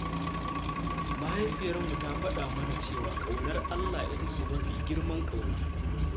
Mahaifiyarmu ta faɗa mana cewa ƙaunar Allah ita ce mafi girman ƙauna.